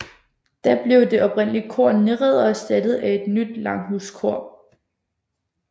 Da blev det oprindelige kor nedrevet og erstattet af et nyt langhuskor